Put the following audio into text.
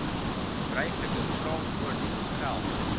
gebruiklike kraamvoordele geld